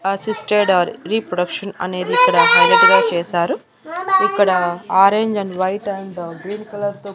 assisted or reproduction అనేదిక్కడ highlight గా చేశారు ఇక్కడ orange and white and green colour తో--